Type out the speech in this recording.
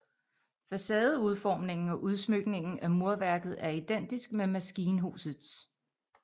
Facadeudformningen og udsmykningen af murværket er identisk med maskinhusets